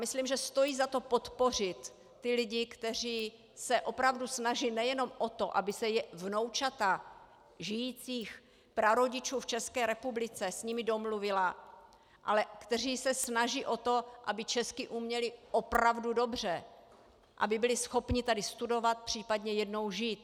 Myslím, že stojí za to podpořit ty lidi, kteří se opravdu snaží nejenom o to, aby se vnoučata žijících prarodičů v České republice s nimi domluvila, ale kteří se snaží o to, aby česky uměla opravdu dobře, aby byla schopna tady studovat, případně jednou žít.